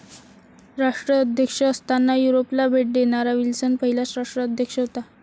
राष्ट्राध्यक्ष असताना युरोपला भेट देणारा विल्सन पहिलाच राष्ट्राध्यक्ष होता